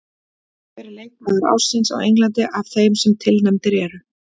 Hver er leikmaður ársins á Englandi af þeim sem tilnefndir eru?